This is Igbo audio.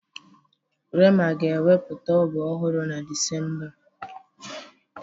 rema ga-ewepụta ọba ọhụrụ na Disemba a